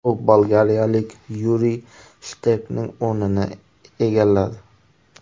U bolgariyalik Yuriy Shterkning o‘rnini egalladi.